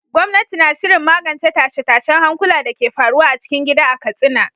Gwamnati na shirin magance tashe-tashen hankula da ke faruwa a cikin gida a Katsina.